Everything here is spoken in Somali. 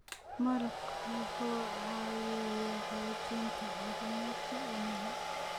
Malabku waxa uu caawiyaa xoojinta caafimaadka wadnaha.